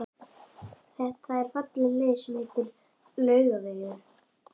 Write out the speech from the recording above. Það er falleg leið sem heitir Laugavegur.